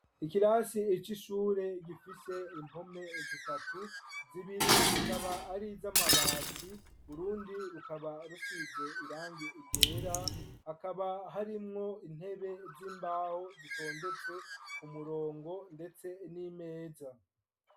Ikirasi c'ishure gifise impome zitatu, zibiri zikaba ari iz'amabati, urundi rukaba rusize irangi ryera, akaba harimwo intebe z'imbaho zitondetse ku murongo ndetse n'imeza.